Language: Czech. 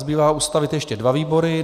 Zbývá ustavit ještě dva výbory.